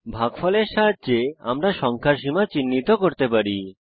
ভাগফলের সাহায্যে আমরা সংখ্যার সীমা চিহ্নিত করতে পারি